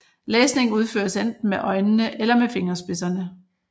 Læsning udføres enten med øjnene eller med fingerspidserne